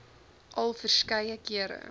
al verskeie kere